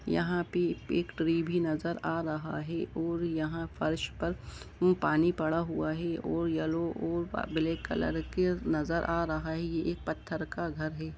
यहां पे एक ट्री भी नजर आ रहा है और यहां फर्श पर पानी पड़ा हुआ है और येलो और ब्लैक कलर के नजर आ रहा है यह एक पत्थर का घर है।